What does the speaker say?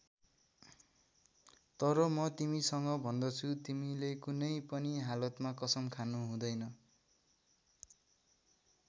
तर म तिमीसँग भन्दछु तिमीले कुनै पनि हालतमा कसम खानु हुँदैन।